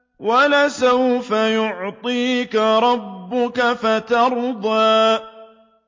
وَلَسَوْفَ يُعْطِيكَ رَبُّكَ فَتَرْضَىٰ